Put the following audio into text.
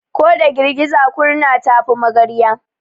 Ko da girgiza kurna ta fi magarya.